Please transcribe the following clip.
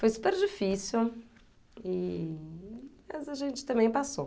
Foi super difícil, e mas a gente também passou.